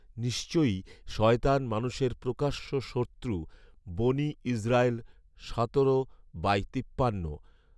'নিশ্চয়ই শয়তান মানুষের প্রকাশ্য শত্রু' বনী ইসরাঈল সতেরো বাই তিপ্পান্ন